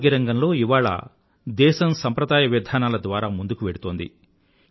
ఆరోగ్యరంగంలో ఇవాళ దేశం సంప్రదాయ విధానాల ద్వారా ముందుకు వెడుతోంది